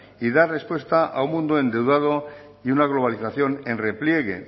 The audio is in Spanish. y dar respuesta a un mundo endeudado y una globalización en repliegue